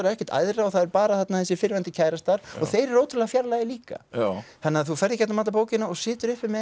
ekkert æðra og það er bara þarna þessir fyrrverandi kærastar og þeir eru ótrúlega fjarlægir líka þannig að þú ferð í gegnum alla bókina og situr uppi með